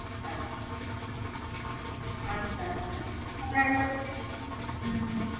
আচ্ছা। আচ্ছা আচ্ছা। হ্যাঁ এটা হচ্ছে হম হম